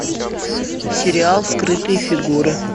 сериал скрытые фигуры